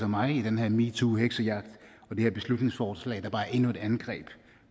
mig i den her metoo heksejagt og det her beslutningsforslag er bare endnu et angreb